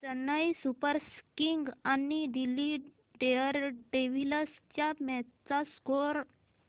Chennai Super Kings आणि Delhi Daredevils च्या match चा स्कोअर